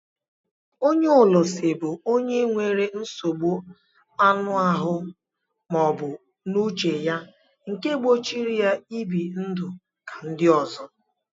Ónyé ólúsi bụ ọnye nwere nsogbụ aṅụ ahụ maọbu n'uche ya nke gbochiri ya ibi ndụ ka ndị ọzọ.